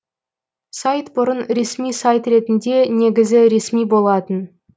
сайт бұрын ресми сайт ретінде негізі ресми болатын